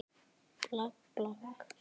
Um þetta leyti var